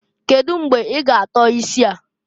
Kedu mgbe i ga atọ isi a?